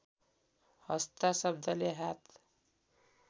हस्ता शब्दले हात